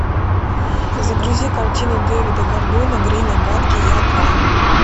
загрузи картину дэвида гордона грина гадкий я два